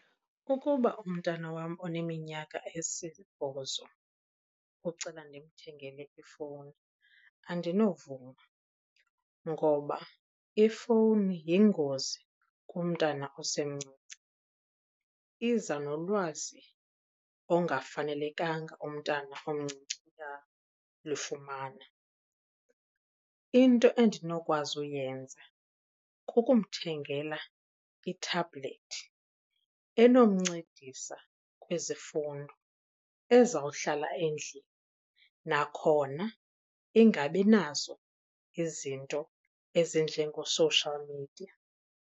Ukuba umntana wam oneminyaka esibhozo ucela ndimthengele ifowuni andinovuma ngoba ifowuni yingozi kumntana osemncinci. Iza nolwazi ongafanelekanga umntana omncinci uyalufumana. Into endinokwazi uyenza kukumthengela i-tablet enomncedisa kwizifundo ezawuhlala endlini, nakhona ingabi nazo izinto ezinjengoo-social media.